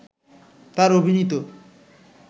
তার অভিনীত